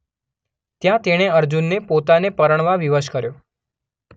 ત્યાં તેણે અર્જુનને પોતાને પરણવા વિવશ કર્યો.